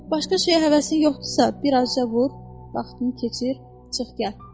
Başqa şeyə həvəsin yoxdursa, birazca vur, vaxtını keçir, çıx gəl.